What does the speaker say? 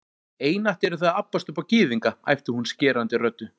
Einatt eruð þið að abbast upp á Gyðinga, æpti hún skerandi röddu